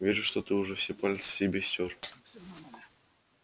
вижу что ты уже все пальцы себе стер